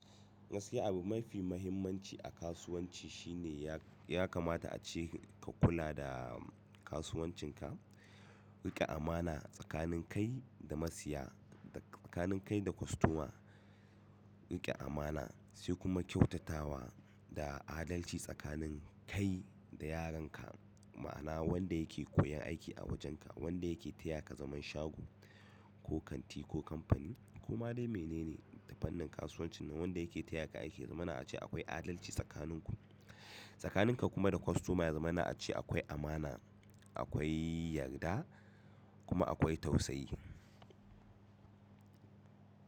Gaskiya abu mafi muhimmanci a kasuwanci shine ya kamata ace ka kula da kasuwancin ka riƙe amana tsakanin kai da masiya da tsakanin kai da kostoma. Riƙe amana sai kuma kyautatawa da adalci tsakanin kai da yaran ka, ma'ana wanda yake koyon aiki a wajenka, wanda yake taya ka zaman shago ko kanti ko kamfani ko ma dai mene ne ta fannin kasuwancin nan wanda yake taya ka aiki ya zamana ace akwai adalci tsakanin ku. Tsakanin ka kuma da kostoma ya zamana ace akwai amana, akwai yarda kuma akwai tausayi.